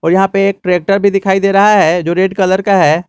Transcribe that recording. और यहां पे एक ट्रैक्टर भी दिखाई दे रहा है जो रेड कलर का है।